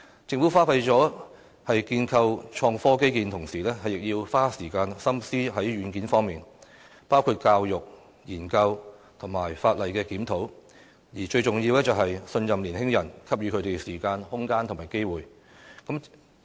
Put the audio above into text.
政府花費在建構創科基建的同時，亦要花時間心思在軟件方面，包括教育、研究和法例檢討，而最重要的是，信任年輕人，給予他們時間、空間和機會。